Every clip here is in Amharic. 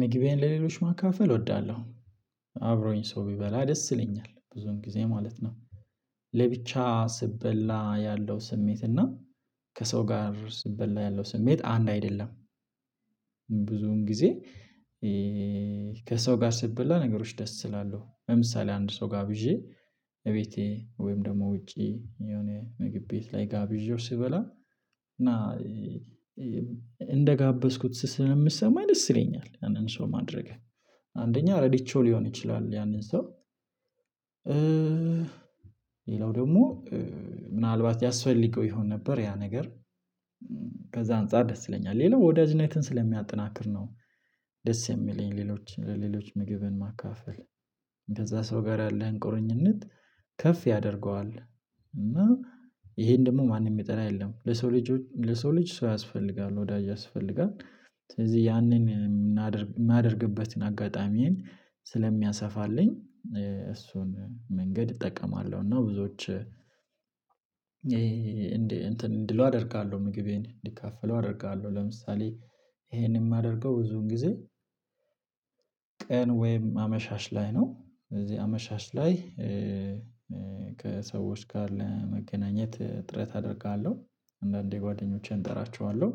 ምግቤን ለሌሎች ማካፈል እወዳለሁ። አብሮኝ ሰው ቢበላ ደስ ይለኛል ብዙን ጊዜ ማለት ነው። ለብቻ ስበላ ያለው ስሜት እና ከሰው ጋር ስበላ ያለው ስሜት አንድ አይደለም። ብዙን ጊዜ ከሰው ጋር ስትበላ ነገሮች ደስ እላለሁ ለምሳሌ አንድ ሰው ጋብዤ እቤቴ ወይም ደግሞ ውጪ የሆነ ምግብ ቤት ላይ ጋብዤው ስበላ እና እንደጋበዝኩት ስስ ስለሚሰማኝ ደስ ይለኛል። ያንን ሰው ማድረግ አንደኛ ረድቼው ሊሆን ይችላል ያንን ሰው ሌላው ደግሞ ምናልባት ያስፈልገው ይሆን ነበር ያ ነገር ከዛ አንፃር ደስ ይለኛል። ሌላው ወዳጅነትን ስለሚያጠናክር ነው ደስ የሚለኝ ሌሎች ለሌሎች ምግብን ማካፈል ከዛ ሰው ጋር ያለህን ቁርኝነት ከፍ ያደርገዋል። እና ይሄን ደግሞ ማንም የሚጠላ የለም ለሰው ልጅ ለሰው ልጅ ሰው ያስፈልጋል ወዳጅ ያስፈልጋል። ስለዚህ ያንን የማደርግበትን አጋጣሚዬን ስለሚያሰፋልኝ እሱን መንገድ እጠቀማለሁ እና ብዙዎች እንዴ እንትን እንድሉ አደርጋለሁ ምግቤን እንዲካፈሉ አደርጋለሁ። ለምሳሌ ይሄንን የማደርገው ብዙን ጊዜ ቀን ወይም አመሻሽ ላይ ነው እዚህ አመሻሽ ላይ ከሰዎች ጋር ለመገናኘት ጥረት አደርጋለሁ። አንዳንዴ ጓደኞቼን እጠራቸዋለሁ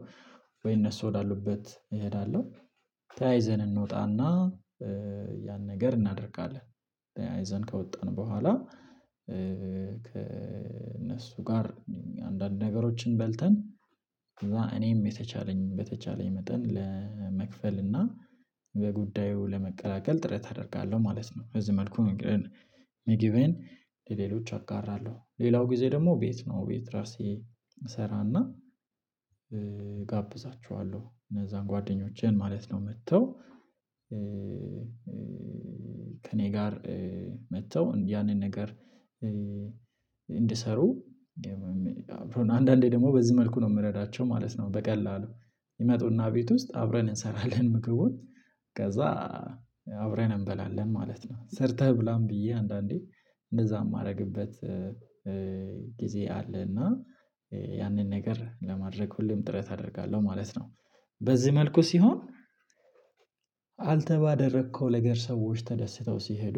ወይ እነሱ ወዳሉበት እሄዳለሁ ተያይዘን እንወጣና ያን ነገር እናደርጋለን ተያይዘን ከወጣን በኋላ ከእነሱ ጋር አንዳንድ ነገሮችን በልተን እኔም የተቻለኝን በተቻለኝ መጠን ለመክፈል እና በጉዳዩ ለመቀላቀል ጥረት አደርጋለሁ ማለት ነው። በዚህ መልኩ ሚጊቤን ለሌሎች አጋራለሁ ሌላው ጊዜ ደግሞ ቤት ነው ቤት ራሴ እሰራና እጋብዛቸዋለሁ እነዛን ጓደኞቼን ማለት ነው። መጥተው ከእኔ ጋር መጥተው ያንን ነገር እንድሰሩ አንዳንዴ ደግሞ በዚህ መልኩ ነው የምረዳቸው ማለት ነው። በቀላሉ ይመጡና ቤት ውስጥ አብረን እንሰራለን ምግቡን ከዛ አብረን እንበላለን ማለት ነው። ሰርተህ ብላም ብዬ አንዳንዴ እንደዛ የማደርግበት ጊዜ አለና ያንን ነገር ለማድረግ ሁሌም ጥረት አደርጋለሁ ማለት ነው። በዚህ መልኩ ሲሆን አንተባደረከው ነገር ሰዎች ተደስተው ሲሄዱ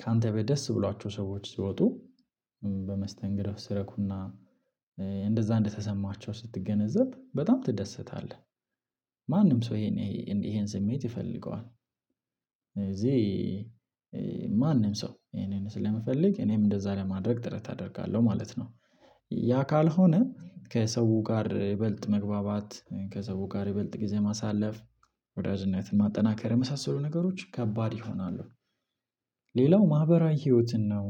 ካንተ ቤት ደስ ብሏቸው ሰዎች ሲወጡ በመስተንግዶህ ሲረኩና እንደዛ እንደተሰማቸው ስትገነዘብ በጣም ትደሰታለህ። ማንም ሰው ይሄን ይሄን ስሜት ይፈልገዋል እዚህ ማንም ሰው እኔን ስለሚፈልግ እኔም እንደዛ ለማድረግ ጥረት አደርጋለሁ ማለት ነው። ያ ካልሆነ ከሰው ጋር ይበልጥ መግባባት ከሰው ጋር ይበልጥ ጊዜ ማሳለፍ ወዳጅነትን ማጠናከር የመሳሰሉ ነገሮች ከባድ ይሆናሉ። ሌላው ማህበራዊ ህይወትን ነው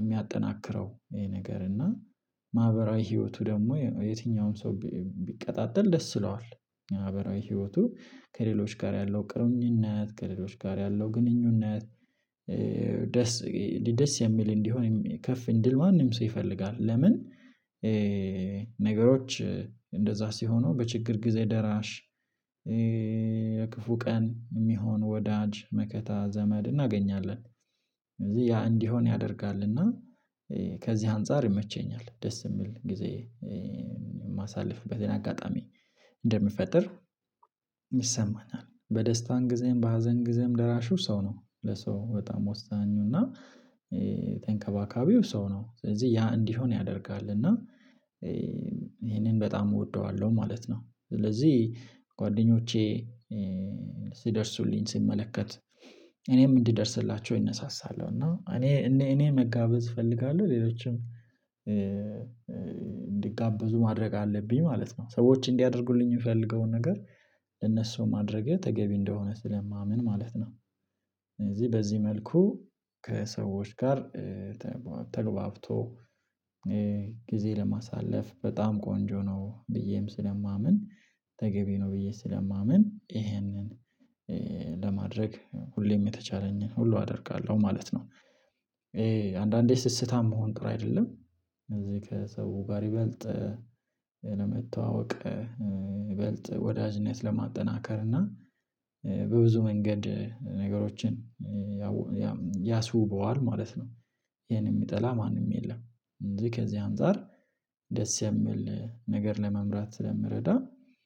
የሚያጠናክረው ነገር እና ማህበራዊ ህይወቱ ደግሞ የትኛውም ሰው ቢቀጣጠል ደስ ይለዋል። ህይወቱ ከሌሎች ጋር ያለው ቅርኙነት ከሌሎች ጋር ያለው ግንኙነት ደስ ደስ የሚል እንዲሆን ከፍ ድል ማንም ሰው ይፈልጋል። ለምን ነገሮች እንደዛ ሲሆኑ በችግር ጊዜ ደራሽ የክፉ ቀን የሚሆን ወዳጅ መከታ ዘመድ እናገኛለን። ያ እንዲሆን ያደርጋል እና ከዚህ አንፃር ይመቸኛል ደስ የሚል ጊዜ የማሳልፍበትን አጋጣሚ እንደምፈጥር ይሰማኛል በደስታም ጊዜም በሀዘን ጊዜም ደራሹ ሰው ነው ለሰው በጣም ወሳኙና ተንከባካቢው ሰው ነው ስለዚህ ያ እንዲሆን ያደርጋል እና ይሄንን በጣም እወደዋለሁ ማለት ነው። ስለዚህ ጓደኞቼ ሲደርሱልኝ ሲመለከት እኔም እንዲደርስላቸው እነሳሳለሁ እኔ እኔ መጋበዝ እፈልጋለሁ ሌሎችም እንዲጋበዙ ማድረግ አለብኝ ማለት ነው። ሰዎች እንዲያደርጉልኝ የምፈልገውን ነገር ለነሱ ማድረግ ተገቢ እንደሆነ ስለማምን ማለት ነው። ስለዚህ በዚህ መልኩ ከሰዎች ጋር ተግባብቶ ጊዜ ለማሳለፍ በጣም ቆንጆ ነው ብዬም ስለማምን ተገቢ ነው ብዬ ስለማምን ይሄንን ለማድረግ ሁሌም የተቻለኝን ሁሉ አደርጋለሁ ማለት ነው። ይሄ አንዳንዴ ስስታም መሆን ጥሩ አይደለም እዚህ ከሰው ጋር ይበልጥ ለመተዋወቅ ይበልጥ ወዳጅነት ለማጠናከር እና በብዙ መንገድ ነገሮችን ያስውበዋል ማለት ነው። ይሄን የሚጠላ ማንም የለም ስለዚህ ከዚህ አንፃር ደስ የምል ነገር ለመምራት ስለምረዳ